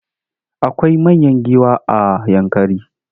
Akwai manyan giwa a Yankari.